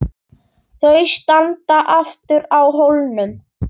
Þau standa aftur á hólnum.